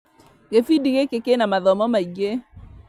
Gĩbindi gĩkĩ kĩna mathomo maingĩ